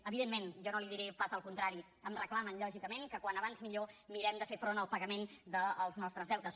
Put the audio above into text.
evidentment jo no li diré pas el contrari em reclamen lògicament que quan abans millor mirem de fer front al pagament dels nostres deutes